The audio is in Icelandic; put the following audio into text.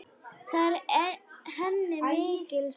Það er henni mikils virði.